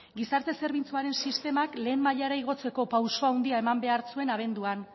gizarte zerbitzuaren sistemak lehen mailara igotzeko pausu handia eman behar zuen abenduan